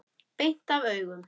Beint af augum.